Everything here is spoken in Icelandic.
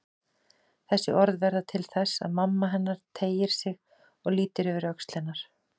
Þessi orð verða til þess að mamma hennar teygir sig og lítur yfir öxl hennar.